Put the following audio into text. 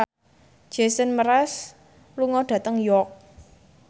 Jason Mraz lunga dhateng York